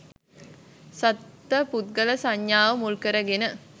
සත්ව පුද්ගල සංඥාව මුල්කරගෙන